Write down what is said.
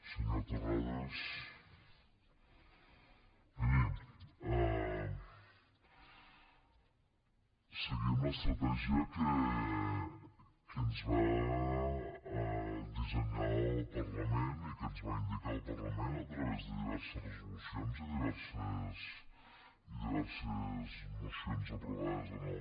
senyor terrades miri seguim l’estratègia que ens va dissenyar el parlament i que ens va indicar el parlament a través de diverses resolucions i diverses mocions aprovades en aquest